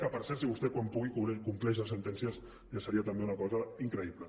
que per cert si vostè quan pugui compleix les sentències ja seria també una cosa increïble